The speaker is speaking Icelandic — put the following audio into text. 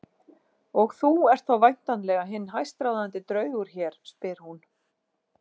Og þú ert þá væntanlega hinn hæstráðandi draugur hér, spyr hún.